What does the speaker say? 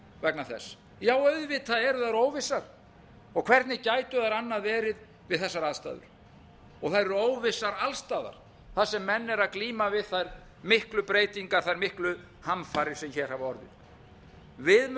vegna þess já auðvitað eru þær óvissar og hvernig gætu þær annað verið við þessar aðstæður þær eru óvissar alls staðar þar sem menn eru að glíma við þær miklu breytingar þær miklu hamfarir sem hér hafa orðið við